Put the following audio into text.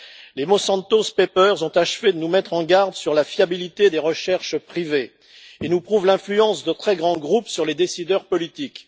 Les Monsanto Papers ont achevé de nous mettre en garde sur la fiabilité des recherches privées et nous prouvent l'influence de très grands groupes sur les décideurs politiques.